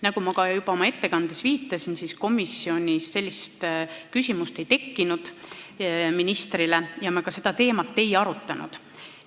Nagu ma ka juba oma ettekandes viitasin, komisjonis sellist küsimust ministrile ei esitatud ja me seda teemat ei arutanud.